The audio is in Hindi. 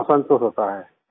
हाँ संतोष होता है